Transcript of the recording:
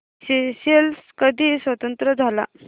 Seychelles कधी स्वतंत्र झाला